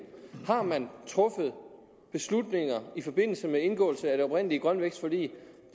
har man truffet beslutninger i forbindelse med indgåelse af det oprindelige grøn vækst forlig